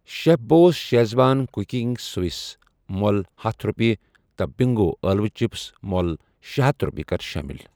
Chef boss schezwan cooking sauce مۄل ہتھَ رۄپیہِ تہٕ بِنٛگو ٲلوٕ چِپس مۄل شے ہتھَ رۄپیہِ کر شٲمِل۔